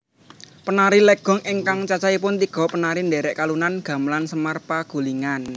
Penari legong ingkang cacahipun tiga penari ndherekalunan gamelan semar pagulingan